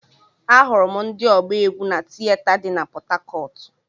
Ahụrụ m ndị ọgba egwu na tieta dị na pọthakọọtu.